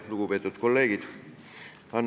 Lugupeetud kolleegid!